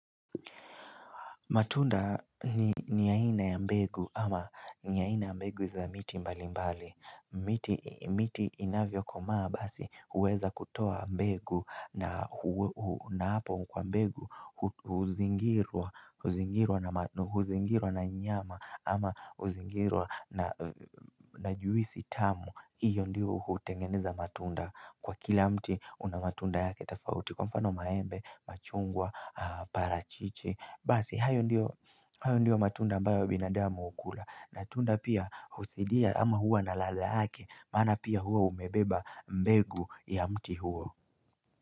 Matunda ni yaina ya mbegu ama ni yaina ya mbegu za miti mbali mbali miti inavyo komaa basi uweza kutoa mbegu na hapo mkwa mbegu Huzingirwa na nyama ama uzingirwa na juisi tamu Iyo ndio hutengeneza matunda kwa kila mti una matunda yake tafauti Kwa mfano maembe, machungwa, parachichi Basi, hayo ndio matunda mbao binadama ukula na tunda pia huthidia ama hua na ladha yake Mana pia hua umebeba mbegu ya mti huo.